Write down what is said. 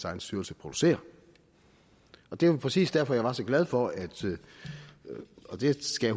egen styrelse producerer det er jo præcis derfor jeg var så glad for og det skal